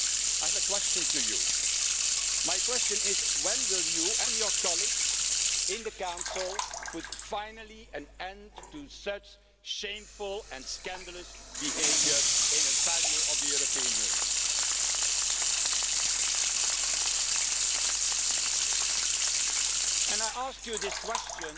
I have a question for you. My question is when will you and your colleagues in the Council finally put an end to such shameful and scandalous behaviour in a value of the European Union? And I do not ask you this question